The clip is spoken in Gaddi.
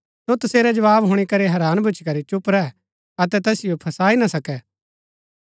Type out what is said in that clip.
सो तसेरै जवाव हुणी करी हैरान भूच्ची करी चुप रैह अतै तैसिओ फसाई ना सकै